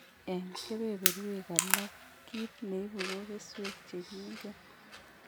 En kebeberuek alak kit neibu ko keswek chegingen